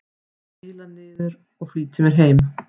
Príla niður og flýti mér fram.